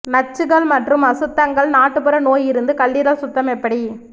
நச்சுகள் மற்றும் அசுத்தங்கள் நாட்டுப்புற நோய் இருந்து கல்லீரல் சுத்தம் எப்படி